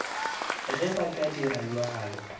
ge ba ka dira bjalo